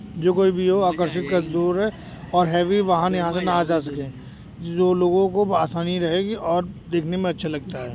जो कोई भी हो आकर्षिक का दौर है और हैवी वाहन यहाँ से ना आ जा सके जो लोगों को आसानी रहेगी और देखने में अच्छा लगता है।